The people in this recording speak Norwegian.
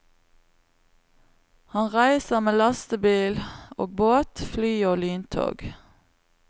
Han reiser med lastebil og båt, fly og lyntog.